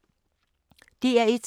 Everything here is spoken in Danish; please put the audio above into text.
DR1